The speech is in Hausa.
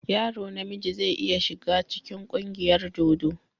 Yaro na miji zai iya shiga cikin ƙungiyar dodo.